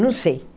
Não sei.